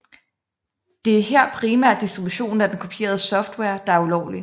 Det er her primært distributionen af den kopierede software der er ulovlig